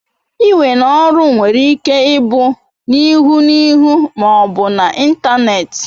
Iwe n'oru were Ike ibu n'ihu n'ihu ma obu n'Ịntanet